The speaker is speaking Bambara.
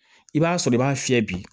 I b'a sɔrɔ i b'a fiyɛ bi